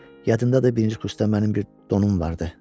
Yadındadır birinci kursda mənim bir donum vardı.